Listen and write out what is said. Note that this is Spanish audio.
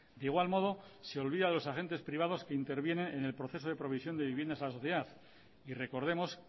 de igual modo se olvida de los agentes privados que interviene en el proceso de provisión de viviendas a la sociedad y recordemos